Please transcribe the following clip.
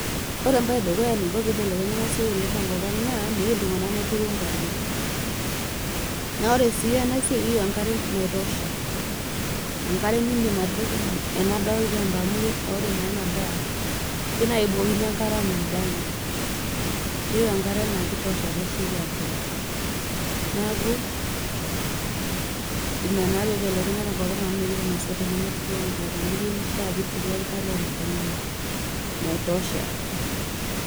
Ore neiko peibelenya ena siai tenkop ang naa meyeu iltung'ana neturu inkariak. Naa ore sii ena siai eyeu enkare naitosha, enkare niindim atipika ena daa olchamba amu ore naa ena daa, keyeu naa ake ebukokini enkare anaa adake. Keyeu enkare naake eitosha pesioki abulu. Ina naa peibelekenya tenkop ang amu meyeu ilmaasai neturu enkare amu keishaa nituru enkare tenkang ino naitosha.